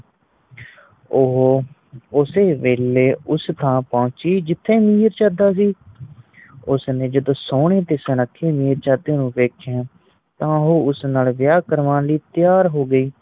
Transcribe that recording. ਉਹ ਉਸੇ ਵੇਲੇ ਉਸੇ ਥਾਂ ਪੋਚੀ ਜਿਤੇ ਮਿਰਜਾਦਾ ਸੀ ਉਸਨੇ ਸੋਨੇ ਤੇ ਸੁਨੱਖੇ ਮਿਰਜਾਦੇ ਨੂੰ ਵੇਖਿਆ ਤਾ ਉਹ ਉਸ ਨਾਲ ਵੇਆਹ ਕਰਵਾਣ ਲਈ ਤਿਆਰ ਹੋ ਗਈ।